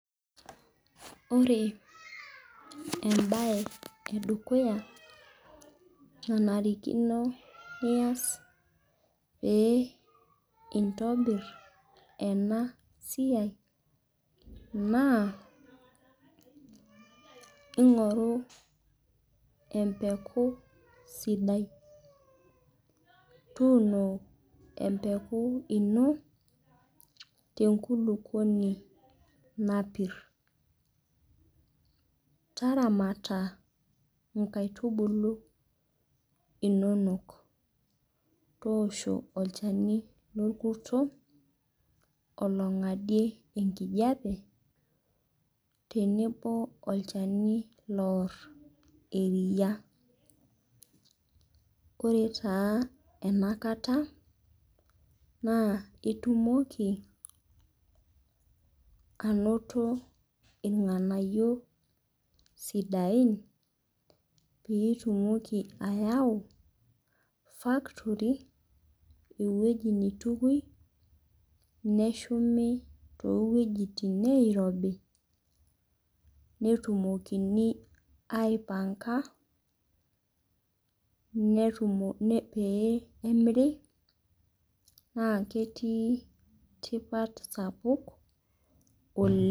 Ore embae edukuya nanarikino niass peyie intobirr ena siai, naa ingoru empeku sidai. Tuuno empeku ino tenkulupuoni napirr. Taramata inkaitubuu inonok. Tossho olchani lolkurto ologadie enkijiape tenebo olchani oar eria. Ore taa enakata naa itumoki anoto ilganayio sidai, peyie itumoki ayau fakitori ewuji neitukuyieki neshumi too wuejitin nairobi netumokini aipanga peyie emiri naa ketii tipat sapuk oleng